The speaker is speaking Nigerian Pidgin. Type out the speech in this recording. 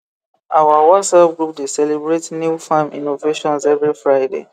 our whatsapp group dey celebrate new farm iinnovations every friday